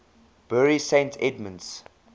bury st edmunds